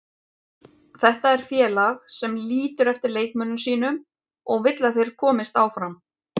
Þetta er félag sem lítur eftir leikmönnum sínum og vill að þeir komist áfram.